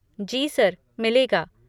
जी sir, मिलेगा।